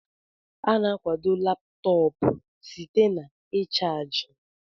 A na-akwado Laptọọpụ site na ịchaji